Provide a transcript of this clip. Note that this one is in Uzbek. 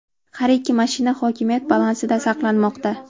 Har ikki mashina hokimiyat balansida saqlanmoqda.